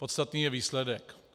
Podstatný je výsledek.